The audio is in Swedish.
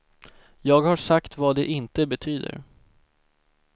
Jag har sagt vad det inte betyder.